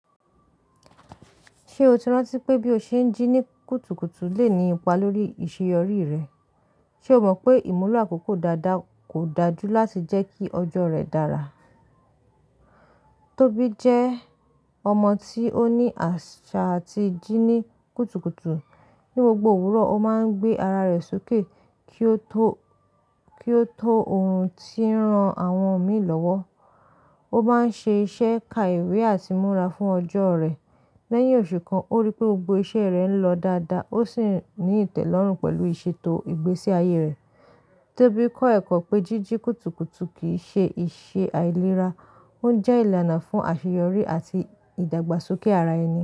Ṣé o ti rántí pé bí o ṣe ń jí ní kùtùkùtù lè ní ipa lórí ìṣeyọrí rẹ? Ṣe o mọ̀ pé ìmúlọ àkókò dáadáa kò dáa jú láti jẹ́ kí ọjọ́ rẹ dára? Tóbi jẹ́ ọmọ tí ó ní àṣà tí ń jí ní kùtùkùtù. Ní gbogbo òwúrọ̀, ó máa ń gbé ara rẹ̀ sókè kí ó tó, kí ó tó ohun tí ń ran àwọn mi lọ́wọ́. Ó máa ń ṣe iṣẹ́ ka ìwé àti múra fún ọjọ́ rẹ̀. Lẹ́yìn oṣù kan, ó rí pé gbogbo iṣẹ́ rẹ̀ ń lọ dáadáa, ó sì ní ìtẹ́lọ́rùn pẹ̀lú ìṣètò ìgbésí ayé rẹ̀. Tóbi kọ́ ẹ̀kọ́ pé jíjí kùtùkùtù kì í ṣe ìṣe àìlera, ó ń jẹ́ ìlànà fún àṣeyọrí àti ìdàgbàsókè ara ẹni.